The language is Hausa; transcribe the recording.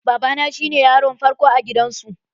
Baba na cine yaron farko a gidan su.